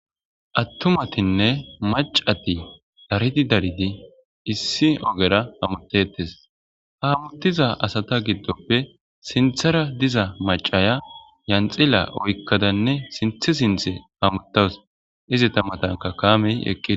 Atumatinne maccati daridi daridinne issi ogera hamuteteesi ha hamutiza asata gidoppe siniththara diza macaya janxila oyikadane sinththte sinththe hamutawusi ezeta natanika kameti eqideesi